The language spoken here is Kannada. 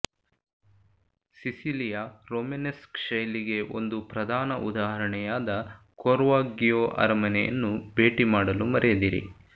ಸಿಸಿಲಿಯ ರೋಮನೆಸ್ಕ್ ಶೈಲಿಗೆ ಒಂದು ಪ್ರಧಾನ ಉದಾಹರಣೆಯಾದ ಕೊರ್ವಾಗ್ಗಿಯೋ ಅರಮನೆಯನ್ನು ಭೇಟಿ ಮಾಡಲು ಮರೆಯದಿರಿ